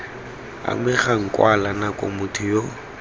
amegang kwala nako motho yo